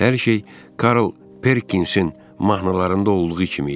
Hər şey Karl Perkinsin mahnılarında olduğu kimi idi.